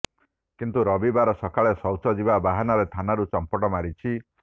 କିନ୍ତୁ ରବିବାର ସକାଳେ ଶୌଚ ଯିବା ବାହାନାରେ ଥାନାରୁ ଚମ୍ପଟ ମାରିଛି